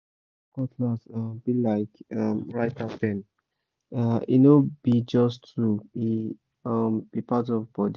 farmer cutlass um be like um writer pen—e no be just tool e um be part of body